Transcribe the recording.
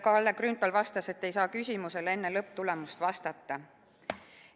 Kalle Grünthal vastas, et ei saa sellele küsimusele enne lõpptulemuse selgumist vastata.